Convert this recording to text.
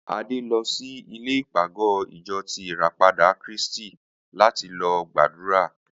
Adé lo̩ si ilè̩ ìpàgó̩ ìjo̩ ti ìràpadà Krístì láti lo̩ gbàdúrà